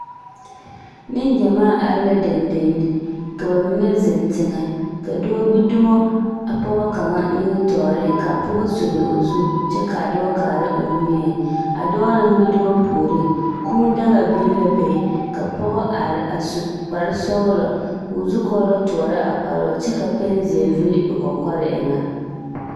Neŋgyamaa are la dendenne, ka ba mine zeŋ teŋԑ, ka dͻͻ gbi dumo a pͻge kaŋa nimitͻͻreŋ ka a pͻgͻ sulli o zu kyԑ ka a dͻͻ kaara o nimieŋ. A dͻͻ naŋ gbi dumo puoriŋ, kũũ daa biŋ la be ka pͻge are a su kpare-sͻgelͻ, koo zukͻͻlͻ tõͻrͻ a kparoo kyԑ ka pԑnzeԑ vili o kͻkͻre eŋԑ.